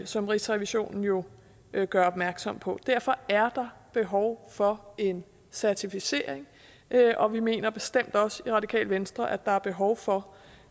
som rigsrevisionen jo jo gør opmærksom på derfor er der behov for en certificering og vi mener bestemt også i radikale venstre at der er behov for